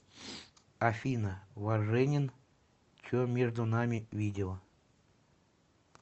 афина важенин че между нами видео